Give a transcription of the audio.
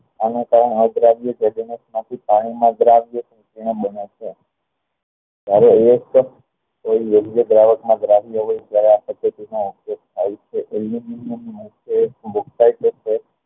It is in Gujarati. અન કારણે પાણી માં જ પદ્ધતિ નો ઉપયોગ થાય છે